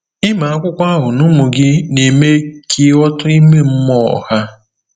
Ịmụ akwụkwọ ahụ na ụmụ gị na-eme ka “ịghọta ime mmụọ” ha.